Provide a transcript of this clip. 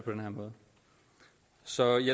på den her måde så i